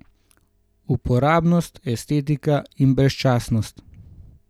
Uporabnost, estetika in brezčasnost.